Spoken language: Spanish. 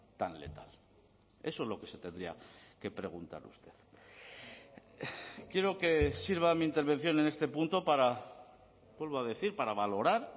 tan letal eso es lo que se tendría que preguntar usted quiero que sirva mi intervención en este punto para vuelvo a decir para valorar